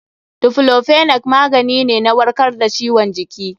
Daiclofenac magani ne na warkar da ciwon jiki.